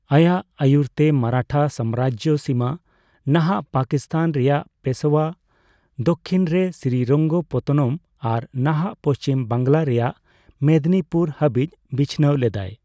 ᱟᱭᱟᱜ ᱟᱭᱩᱨ ᱛᱮ ᱢᱟᱨᱟᱴᱷᱟ ᱥᱟᱢᱨᱟᱡᱽᱡᱚ ᱥᱤᱢᱟᱹ ᱱᱟᱦᱟᱜ ᱯᱟᱠᱤᱥᱛᱷᱟᱱ ᱨᱮᱭᱟᱜ ᱯᱮᱥᱳᱣᱟ, ᱫᱚᱠᱠᱷᱤᱱ ᱨᱮ ᱥᱨᱤᱨᱚᱝᱜᱚᱯᱚᱛᱛᱚᱱᱚᱢ ᱟᱨ ᱱᱟᱦᱟᱜ ᱯᱚᱪᱷᱤᱢ ᱵᱟᱝᱞᱟ ᱨᱮᱭᱟᱜ ᱢᱮᱫᱽᱱᱤᱯᱩᱨ ᱦᱟᱹᱵᱤᱡ ᱵᱤᱪᱷᱱᱟᱹᱣ ᱞᱮᱫᱟᱭ ᱾